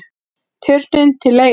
Turninn til leigu